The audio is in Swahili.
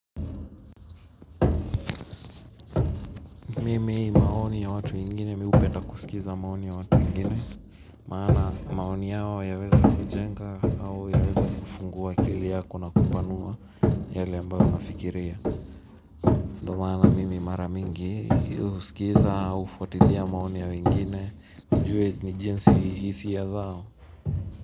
Mimi maoni ya watu wengine mi hupenda kusikiza maoni ya watu wengine maana maoni yao yaweza kujenga au yaweza kufungua akili yako na kupanua yale ambayo nafikiria ndo maana mimi mara mingi husikiza hufuatilia maoni yao wengine, nijue ni jinsi hisia zao.